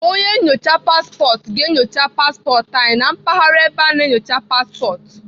Onye nnyocha paspọtụ ga-enyocha paspọtụ anyị na mpaghara ebe a na-enyocha paspọtụ.